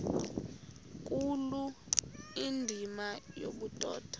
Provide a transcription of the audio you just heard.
nkulu indima yobudoda